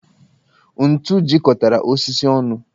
Ntù jikọtara osisi onụ